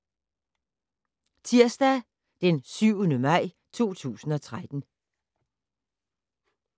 Tirsdag d. 7. maj 2013